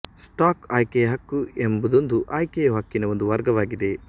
stock ಆಯ್ಕೆಯ ಹಕ್ಕು ಎಂಬುದೊಂದು ಆಯ್ಕೆಯ ಹಕ್ಕಿನ ಒಂದು ವರ್ಗವಾಗಿದೆ